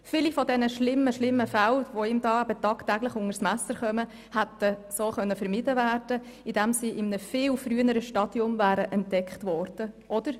Viele dieser schlimmen Fälle, die ihm tagtäglich unter das Messer kommen, hätten vermieden werden können, indem sie in einem viel früheren Stadium entdeckt worden wären.